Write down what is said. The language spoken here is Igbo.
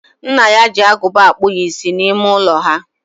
Nna ya ji agụba akpụ ya isi n'ime ụlọ ha.